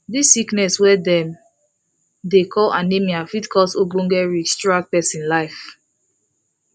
this sickness wey dem dey call anemia fit cause ogboge risk throughout persin life